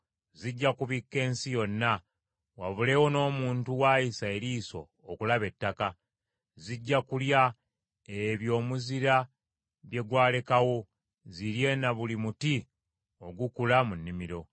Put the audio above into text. Zijja kubikka ensi yonna, wabulewo n’omuntu w’ayisa eriiso okulaba ettaka. Zijja kulya ebyo omuzira bye gwalekawo, zirye ne buli muti ogukula mu nnimiro.